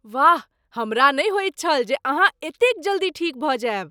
वाह! हमरा नहि होइत छल जे अहाँ एतेक जल्दी ठीक भऽ जायब।